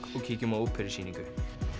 og kíkjum á óperusýningu